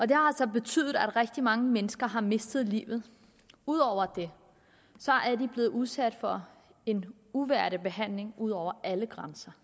det har så betydet at rigtig mange mennesker har mistet livet ud over det er de blevet udsat for en uværdig behandling ud over alle grænser